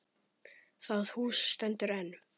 Það hús stendur enn.